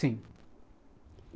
Sim.